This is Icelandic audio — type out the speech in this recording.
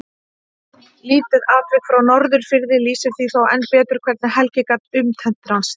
Lítið atvik frá Norðfirði lýsir því þó enn betur hvernig Helgi gat upptendrast.